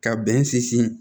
Ka bɛn sinsin